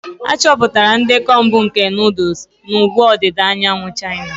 Achọpụtara ndekọ mbụ nke nuduls na ugwu ọdịda anyanwụ China.